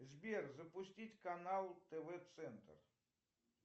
сбер запустить канал тв центр